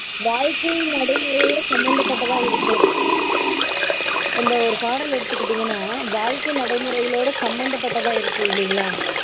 வாழ்க்கை நடைமுறைகளோட சம்மந்தப்பட்டதா இருக்கும். அந்த ஒரு பாடல் எடுத்துக்கிட்டீங்கனா வாழ்க்கை நடைமுறைகளோட சம்மந்தப்பட்டதா இருக்கும் இல்லைங்களா?